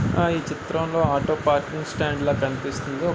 ఆ ఈ చిత్రం లో ఆటో పార్కింగ్ స్టాండ్ లా కనిపిస్తుంది. ఒక--